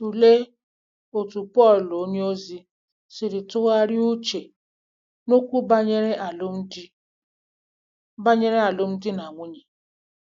Tụlee otú Pọl onyeozi si tụgharịa uche n'okwu banyere alụmdi banyere alụmdi na nwunye.